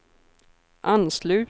anslut